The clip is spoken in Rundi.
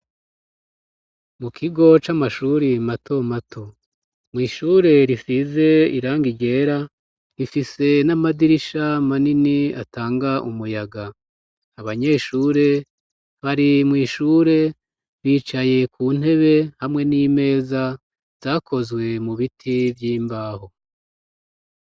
Mu kigo c'amashuri mato mato .Mw'ishure rifise irangi ryera rifise n'amadirisha manini atanga umuyaga abanyeshure hari mu ishure bicaye ku ntebe hamwe n'imeza zakozwe mu biti vy'imbaho.